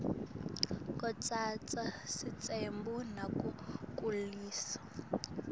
kutsatsa sitsembu nako kulisiko